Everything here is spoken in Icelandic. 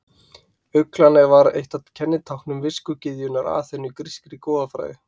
Uglan var eitt af kennitáknum viskugyðjunnar Aþenu í grískri goðafræði.